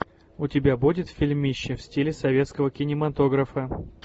у тебя будет фильмище в стиле советского кинематографа